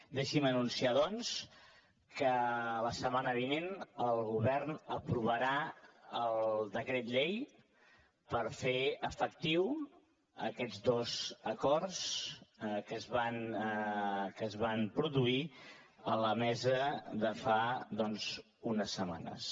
deixi’m anunciar doncs que la setmana vinent el govern aprovarà el decret llei per fer efectius aquests dos acords que es van produir a la mesa de fa unes setmanes